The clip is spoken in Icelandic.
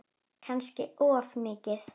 Kannski of mikið.